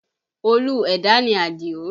Olú ẹ̀dá ni Adio